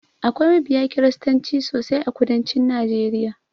Akwai mabiya kiristanci sosai a kudancin najeriya.